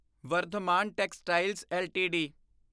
Vardhman textiles LTD